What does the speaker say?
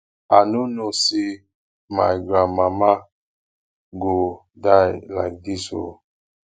i no know say my grand mama go die like dis ooo